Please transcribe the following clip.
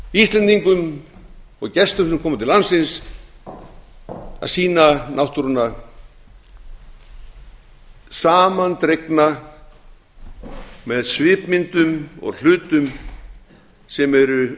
íslendingum og gestum sem koma til landsins að sýna náttúruna samandregna með svipmyndum og hlutum sem eru